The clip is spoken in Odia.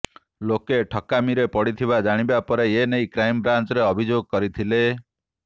ଲୋକେ ଠକାମିରେ ପଡ଼ିଥିବା ଜାଣିବା ପରେ ଏନେଇ କ୍ରାଇମ୍ ବ୍ରାଞ୍ଚରେ ଅଭିଯୋଗ କରିଥିଲେ